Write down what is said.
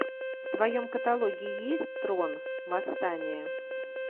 в твоем каталоге есть трон восстание